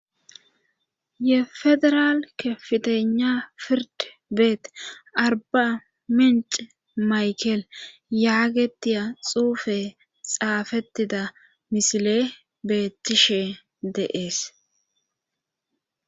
ye federal kepitena pird beet arba menci maykel yaagetiya xuufe xaafettida misile beettishe deees